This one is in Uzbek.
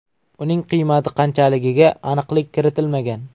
Uning qiymati qanchaligiga aniqlik kiritilmagan.